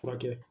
Furakɛ